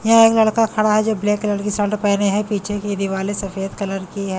यह एक लड़का खड़ा है जो ब्लैक कलर की शर्ट पहने है पीछे की दिवाले सफेद कलर की है।